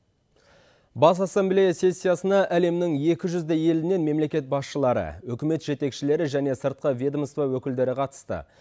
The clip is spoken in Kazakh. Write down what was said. бас ассамблея сессиясына әлемнің екі жүздей елінен мемлекет басшылары үкімет жетекшілері және сыртқы ведомство өкілдері қатысты